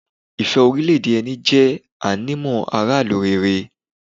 ìfẹ́ orílẹ̀-èdè ẹni jẹ́ ànímọ́ aráàlú rere.